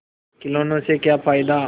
खिलौने से क्या फ़ायदा